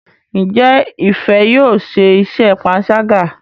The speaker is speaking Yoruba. Njé Ifẹ yóò ṣe iṣé panṣaga.?